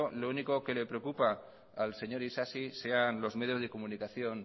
lo único que le preocupa al señor isasi sean los medios de comunicación